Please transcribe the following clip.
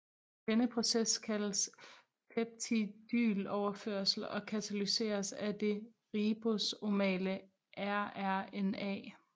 Denne proces kaldes peptidyloverførsel og katalyseres af det ribosomale rRNA